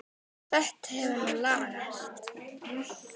Þetta hefur nú lagast.